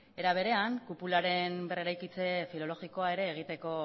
era berean kupularen berreraikitze filologikoa ere egiteko